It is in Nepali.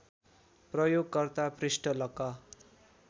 प्रयोगकर्ता पृष्ठ लक